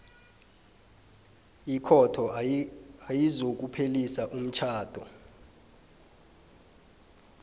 ikhotho ayizokuphelisa umtjhado